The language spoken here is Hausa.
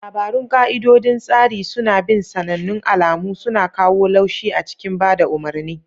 Labarun ka'idodin tsari suna bin sanannun alamu, suna kawo laushi a cikin ba da umarni.